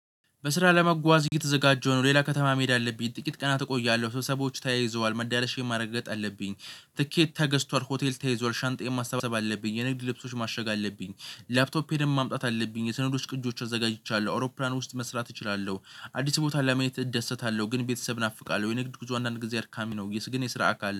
በስራ ለመጓዝ እየተዘጋጀሁ ነው። ሌላ ከተማ መሄድ አለብኝ ጥቂት ቀናት እቆያለሁ። ሰብሰባዎች ተያይዘዋል መዳረሻ ማረጋገጥ አለብኝ። ትኬት ተገዝቷል ሆቴል ተይዟል ሻንጣዬን ማሳባሰብ አለብኝ። የንግድ ልብሶች ማሸግ አለብኝ። ላፕቶፕ እሄ ደሞ ማምጣት አለብኝ። የሰነዶች ቅጆች አዘጋጅቻለሁ አውሮፕላን ውስጥ መስራት እችላለሁ። አዲስ ቦታ ለማየት እደሰታለው ግን ቤተሰብ እናፍቃለው። የንግድ ጉዞ አንዳንድ ጊዜ አድካሚ ነው። የስ ግን የስራ አካል